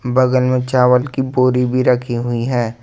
बगल में चावल की बोरी भी रखी हुई है।